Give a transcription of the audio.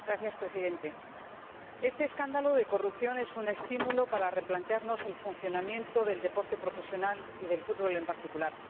Señor Presidente, este escándalo de corrupción es un estímulo para replantearnos el funcionamiento del deporte profesional y del fútbol en particular.